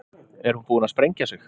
Er hún búin að sprengja sig?